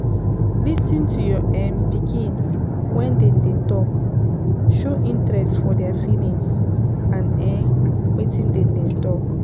Lis ten to your um pikin when dem dey talk, show interest for their feelings and um wetin dem dey talk